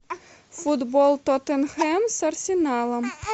футбол тоттенхэм с арсеналом